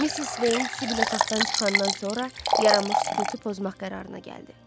Missis Veyn Sibili otaqdan çıxandan sonra yaranmış sükutu pozmaq qərarına gəldi.